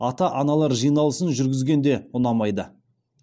ата аналар жиналысын жүргізген де ұнамайды